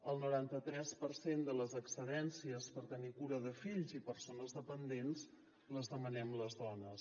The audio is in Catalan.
el noranta tres per cent de les excedències per tenir cura de fills i persones dependents les demanem les dones